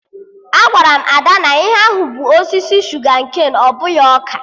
Agwara m Ada na ihe ahụ bụ osisi shuga-ken, ọ bụghị ọka